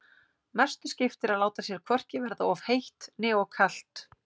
Mestu skiptir að láta sér hvorki verða of heitt né of kalt.